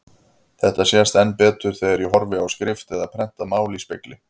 Þetta sést enn betur þegar ég horfi á skrift eða prentað mál í spegli.